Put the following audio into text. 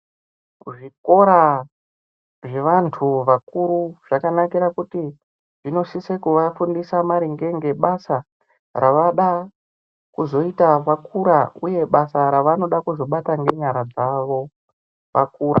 Ku zvikora zve vantu vakuru zvakanakira kuti zvinosise ku vafundisa maringe ngebasa ravada kuzoita vakura uye basa ravanoda kuzobata nge nyara dzavo vakura.